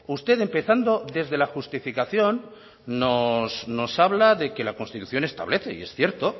usted empezando desde la justificación nos habla de que la constitución establece y es cierto